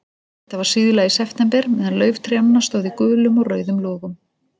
Þetta var síðla í september, meðan lauf trjánna stóð í gulum og rauðum logum.